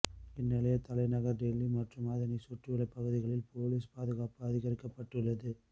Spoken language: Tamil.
இந்நிலையில் தலைநகர் டெல்லி மற்றும் அதனை சுற்றியுள்ள பகுதிகளில் பொலிஸ் பாதுகாப்பு அதிகரிக்கப்பட்டுள்ளது